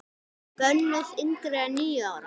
Bönnuð yngri en níu ára.